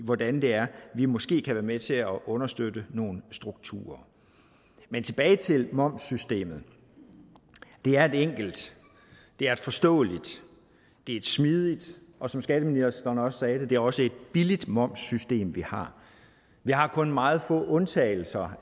hvordan det er vi måske kan være med til at understøtte nogle strukturer men tilbage til momssystemet det er et enkelt det er et forståeligt det er et smidigt og som skatteministeren også sagde det er også et billigt momssystem vi har vi har kun meget få undtagelser